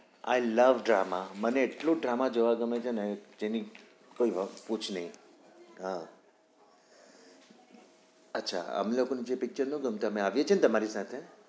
i love drama મને એટલું drama જોવા ગમે છે ને એની કોઈ વસ્તુ જ નઈ હા અચ્છા આમે લોકો ને pictures ના ગમતા અમે આવીએ છીએ ને